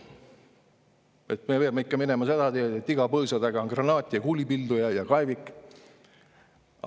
me peame ikka minema seda teed, et iga põõsa taga on granaat, kuulipilduja ja kaevik.